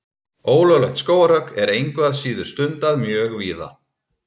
Ólöglegt skógarhögg er engu að síður stundað mjög víða.